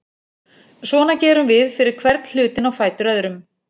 Svona gerum við fyrir hvern hlutinn á fætur öðrum.